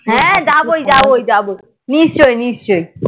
হ্যাঁ যাবোই যাবোই যাবোই নিশ্চই নিশ্চই